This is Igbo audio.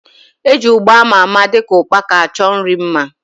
Eji ugba ama ama dịka ukpaka achọ nri mma